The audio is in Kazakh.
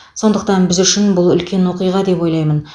сондықтан біз үшін бұл үлкен оқиға деп ойлаймын